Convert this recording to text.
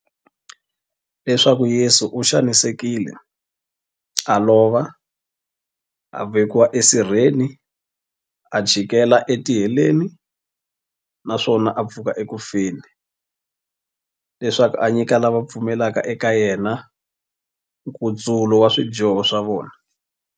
Leswaku Yesu u xanisekile, a lova, a vekiwa esirheni, a chikela etiheleni, naswona a pfuka eku feni, leswaku a nyika lava va pfumelaka eka yena, nkutsulo wa swidyoho swa vona.